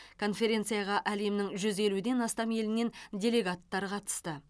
конференцияға әлемнің жүз елуден астам елінен делегаттар қатысты